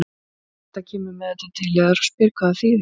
Beta kemur með þetta til yðar og spyr hvað það þýðir.